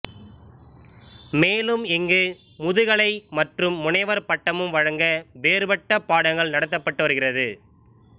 மேலும் இங்கு முதுகலை மற்றும் முனைவர் பட்டமும் வழங்க வேறுபட்ட பாடங்கள் நடத்தப்பட்டு வருகிறது